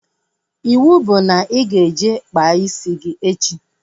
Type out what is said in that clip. Iwu bụ na ị ga-eje kpaa isi gị echi!